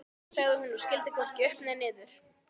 sagði hún og skildi hvorki upp né niður.